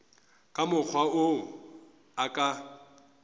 ka mokgwa wo a ka